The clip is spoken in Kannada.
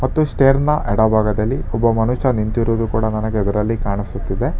ಮತ್ತು ಸ್ಟೇರ್ನ ಎಡಭಾಗದಲ್ಲಿ ಒಬ್ಬ ಮನುಷ್ಯ ನಿಂತಿರುವುದು ಕೂಡ ನನಗೆ ಇದರಲ್ಲಿ ಕಾಣಿಸುತ್ತಿದೆ.